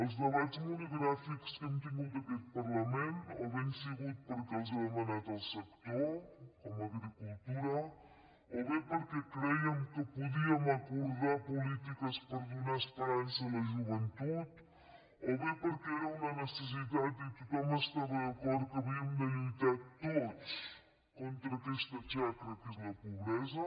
els debats monogràfics que hem tingut en aquest parlament o bé han sigut perquè els ha demanat el sector com agricultura o bé perquè crèiem que podíem acordar polítiques per donar esperança a la joventut o bé perquè era una necessitat i tothom estava d’acord que havíem de lluitar tots contra aquesta xacra que és la pobresa